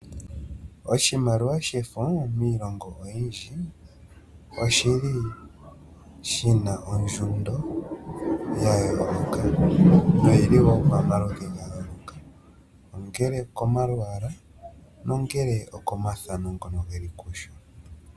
Oshimaliwa shefo miilongo oyindji oshi li shi na ondjundo ya yooloka, no yi li woo pamaludhi ga yooloko, ongele okomalwaala, ongele okomathano ngoka ge li kusho.